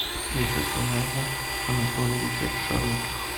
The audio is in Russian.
вячеслава анатольевича широких